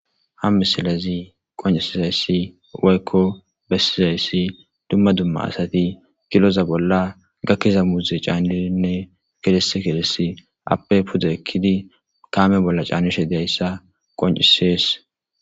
ham misilezi qoncisizayssi waykko bessizayssi dumma dumma asati kiloza bolla gakkiza muuze caannininne gides kilesi appe puda ekkidi kaame bolla caanishe deyssa qoncisees